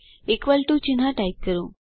equal to ચિહ્ન type કરો